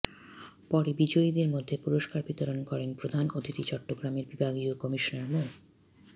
পরে বিজয়ীদের মধ্যে পুরস্কার বিতরণ করেন প্রধান অতিথি চট্টগ্রামের বিভাগীয় কমিশনার মো